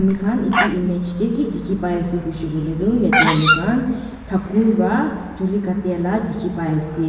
han itu image tey ki dikhi pai asey kuishe kui ledu yetey ami khan thakur wa chuli katia la dikhi pai ase.